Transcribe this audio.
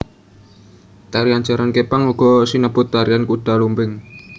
Tarian jaran kepang uga sinebut tarian kuda lumping